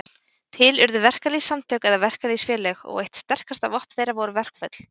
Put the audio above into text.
Til urðu verkalýðssamtök eða verkalýðsfélög, og eitt sterkasta vopn þeirra voru verkföll.